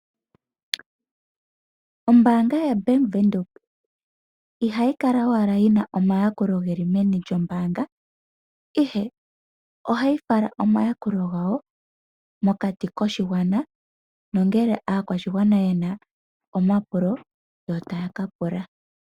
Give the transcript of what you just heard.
Oombaanga yaBank windhoek ihayi kala owala yina omayakulo geli meni lyombaanga, ihe ohayi fala omayakulo gawo mokati koshigwana nongele aakwashigwana yena omapulo yo taya kapula.